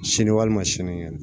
Sini walima sinikɛnɛ